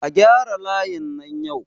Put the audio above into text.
A gyara layin nan yau!